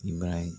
I b'a ye